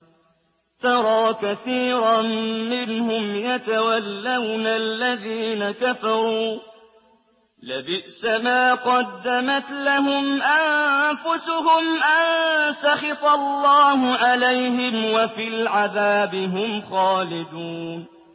تَرَىٰ كَثِيرًا مِّنْهُمْ يَتَوَلَّوْنَ الَّذِينَ كَفَرُوا ۚ لَبِئْسَ مَا قَدَّمَتْ لَهُمْ أَنفُسُهُمْ أَن سَخِطَ اللَّهُ عَلَيْهِمْ وَفِي الْعَذَابِ هُمْ خَالِدُونَ